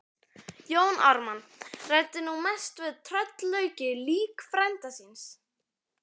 Jón Ármann ræddi nú mest við tröllaukið lík frænda síns.